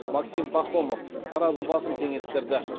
максим пахомов таразы басын теңестірді